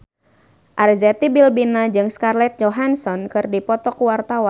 Arzetti Bilbina jeung Scarlett Johansson keur dipoto ku wartawan